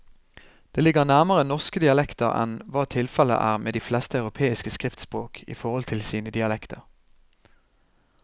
Det ligger nærmere norske dialekter enn hva tilfellet er med de fleste europeiske skriftspråk i forhold til sine dialekter.